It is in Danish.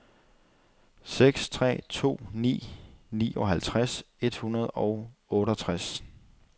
seks tre to ni nioghalvtreds et hundrede og otteogtres